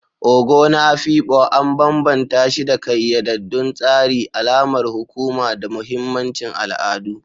Ogo na Afikpo an bambanta shi da ƙayyadaddun tsari, alamar hukuma, da mahimmancin al'adu.